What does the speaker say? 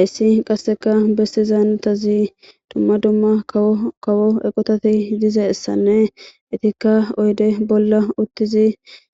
ayssi qasseka bestizaanutazi dumma dumma kawkawo eqotati dizeessanne itikka oyde bolla uttizi